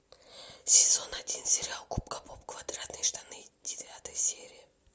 сезон один сериала губка боб квадратные штаны девятая серия